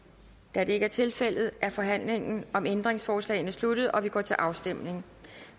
da det ikke er tilfældet er forhandlingen om ændringsforslagene sluttet og vi går til afstemning